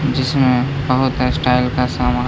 जिसमे बोहोत स्टाइल का सामान --